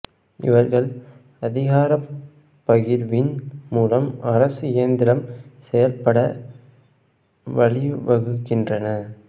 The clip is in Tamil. இவர்கள் அதிகாரப் பகிர்வின் மூலம் அரசு இயந்திரம் செயல்பட வழிவகுக்கின்றனர்